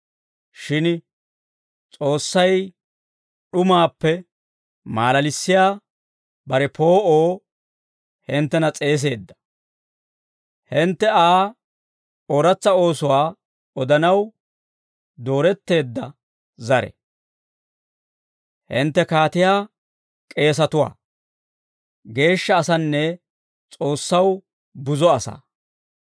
Shin S'oossay d'umaappe maalalissiyaa bare poo'oo hinttena s'eeseedda; hintte Aa ooratsa oosuwaa odanaw dooretteedda zare; hintte kaatiyaa k'eesatuwaa; geeshsha asanne S'oossaw buzo asaa.